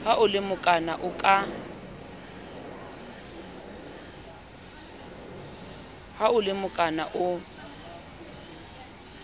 ha o le mokana o